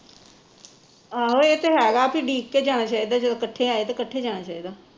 ਆਹੋ ਇਹ ਤੇ ਹੈਗਾ, ਵੀ ਡੀਕ ਕੇ ਜਾਣਾ ਚਾਹੀਦਾ ਜਦੋਂ ਕੱਠੇ ਆਏ ਤੇ ਕੱਠੇ ਜਾਣਾ ਚਾਹੀਦਾ